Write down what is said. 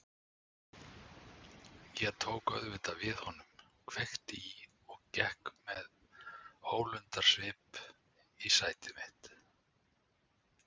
Ég tók auðvitað við honum, kveikti í og gekk með ólundarsvip í sæti mitt.